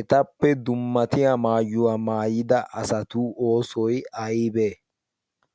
etappe dummatiya maayuwaa maayida asatu oosoy aybee